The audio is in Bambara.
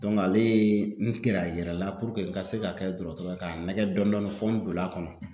ale ye n gɛrɛ a yɛrɛ la ka se ka kɛ dɔgɔtɔrɔ ye k'a nɛgɛn dɔɔnin dɔɔnin fo n donn'a kɔnɔ